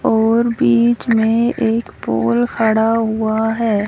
और बीच में एक पोल खड़ा हुआ है।